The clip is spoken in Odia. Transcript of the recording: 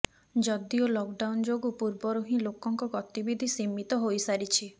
ଯଦିଓ ଲକ୍ ଡାଉନ୍ ଯୋଗୁଁ ପୂର୍ବରୁ ହିଁ ଲୋକଙ୍କ ଗତିବିଧି ସୀମିତ ହୋଇସାରିଛି